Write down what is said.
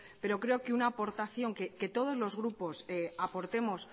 pero creo que una aportación que todos los grupos aportemos